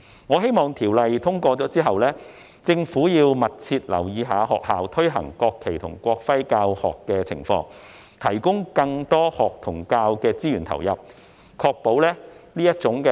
我希望在《條例草案》獲通過後，政府能密切留意學校推行國旗及國徽教學的情況，並投入更多學與教資源，以確保這種愛國教育具有成效。